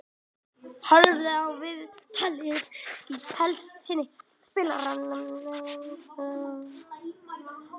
Horfðu á viðtalið í heild sinni í spilaranum hér fyrir ofan.